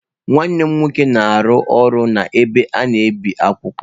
Nwanne m nwoke na-arụ ọrụ n’ebe a na-ebi akwụkwọ.